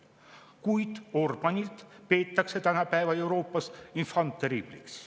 Kuid Orbáni peetakse tänapäeva Euroopas enfant terrible'iks.